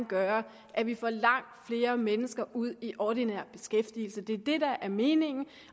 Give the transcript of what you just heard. gøre at vi får langt flere mennesker ud i ordinær beskæftigelse det er det der er meningen